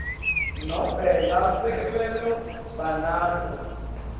nobe lasevele banato